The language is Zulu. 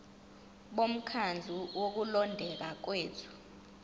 bomkhandlu wokulondeka kwethu